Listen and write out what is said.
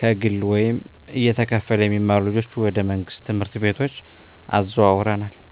ከግለ ወይም እየተከፈለ የሚማሩ ልጆችን ወደ መንግሥት ትምህርት ቤቶች አዘዋውረናል